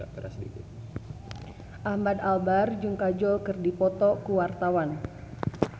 Ahmad Albar jeung Kajol keur dipoto ku wartawan